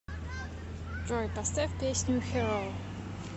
джой поставь песню хиро